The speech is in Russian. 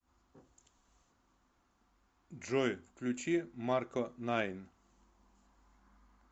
джой включи марко найн